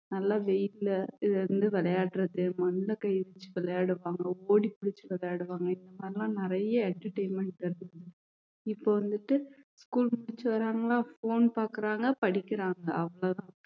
நல்லா வெய்யில்ல இதுல இருந்து விளையாடுறது மண்ணுல கைய வச்சு விளையாடுவாங்க ஓடிப்பிடிச்சு விளையாடுவாங்க இந்த மாதிரி எல்லாம் நிறைய entertainment இருக்கு இப்ப வந்துட்டு school முடிச்சு வர்றாங்கலா phone பாக்குறாங்க படிக்கிறாங்க அவ்வளவுதான்